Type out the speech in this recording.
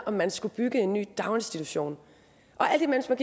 om man skulle bygge en ny daginstitution og alt imens man